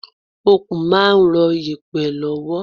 Okùn máa ń ron yèpẹ̀ lọ́wọ́.